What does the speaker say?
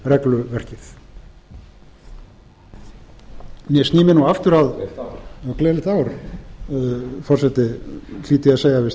sný mér nú aftur að hlýt ég að segja við steingrím j sigfússon háttvirtan